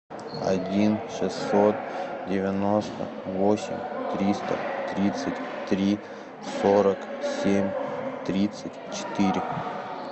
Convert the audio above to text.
один шестьсот девяносто восемь триста тридцать три сорок семь тридцать четыре